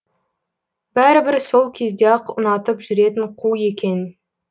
бәрібір сол кезде ақ ұнатып жүретін қу екен